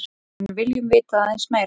En viljum vita aðeins meira.